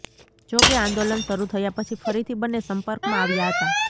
જો કે આંદોલન શરુ થયાં પછી ફરીથી બન્ને સંપર્કમાં આવ્યા હતાં